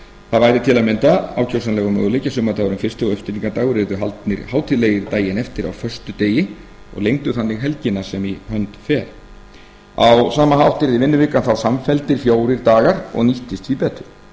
það væri til að mynda ákjósanlegur möguleiki að sumardagurinn fyrsti og uppstigningardagur yrðu haldnir hátíðlegir daginn eftir á föstudegi og lengdu þannig helgina sem í hönd fer á sama hátt yrði vinnuvikan þá samfelldir fjórir dagar og nýttist því betur